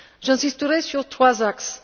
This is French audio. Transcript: J'insisterai sur 3 axes.